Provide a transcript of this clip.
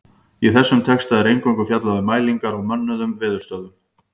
Í þessum texta er eingöngu fjallað um mælingar á mönnuðum veðurstöðvum.